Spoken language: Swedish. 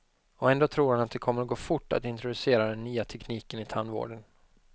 Ändå tror han det kommer att gå fort att introducera den nya tekniken i tandvården.